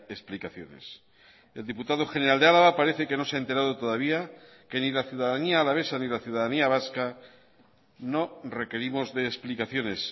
explicaciones el diputado general de álava parece que no se ha enterado todavía que ni la ciudadanía alavesa ni la ciudadanía vasca no requerimos de explicaciones